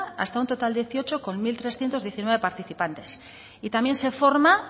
hasta un total de dieciocho con mil trescientos diecinueve participantes y también se forma